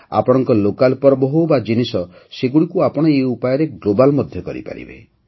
ଆପଣଙ୍କ ଲୋକାଲ୍ ପର୍ବ ହେଉ ବା ଜିନିଷ ସେଗୁଡ଼ିକୁ ଆପଣ ଏହି ଉପାୟରେ ଗ୍ଲୋବାଲ୍ ମଧ୍ୟ କରିପାରିବେ